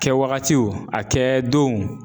Kɛwagatiw a kɛdonw